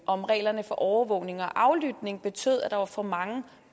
om reglerne for overvågning og aflytning betød at der var for mange